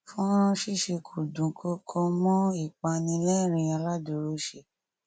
fọnrán ṣíṣe kò dùnkọkọ mọ ìpani lérìnín aládùrọsẹ